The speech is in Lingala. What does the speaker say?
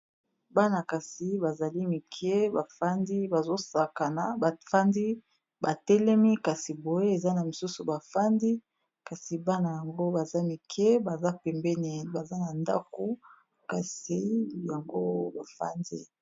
Bana kasi bazali mike bafandi bazo sakana bafandi batelemi kasi boye eza na misusu bafandi kasi bana yango baza mike baza pembeni baza na ndaku kasi yango bafandi.